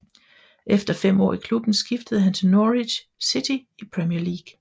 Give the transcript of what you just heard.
Efter fem år i klubben skiftede han til Norwich City i Premier League